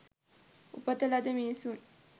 උපත ලද මිනිසුන්